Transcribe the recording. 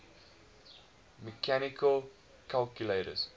mechanical calculators